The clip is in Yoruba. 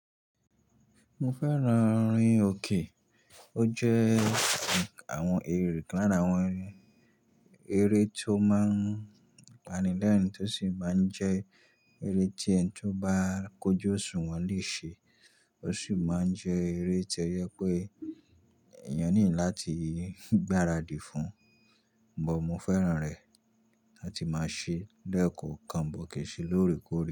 Mo fẹ́ran rin òkè. O jẹ́ àwọn eré nkan lara àwọn, eré tó máa ń panilẹ́rìn tí ó sì máa ń jẹ́ eré tí ẹni tó bá kójó òṣùwọ̀n lè ṣe. O sì máa ń jẹ́ eré tó yẹ pé èèyàn nílò láti gbaradì fún. But mo fẹ́ran rẹ̀ láti máa ṣe lẹ́ẹ̀kọ̀ọ́ kan but kè n se lóre kòre.